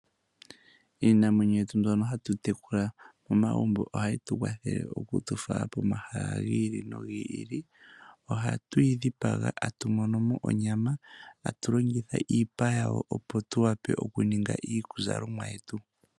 Iinamwenyo yetu mbyono hatu tekula momagumbo ohayi tukwathele okutu fala komahala gi ili nogi ili. Ohatu yi dhipaga tatu mono mo onyama tatu longitha iipa yawo opo tuwape okuninga iizalomwa yetu.